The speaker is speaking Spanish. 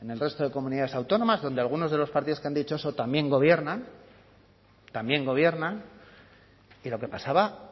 en el resto de comunidades autónomas donde algunos de los partidos que han dicho eso también gobiernan también gobiernan y lo que pasaba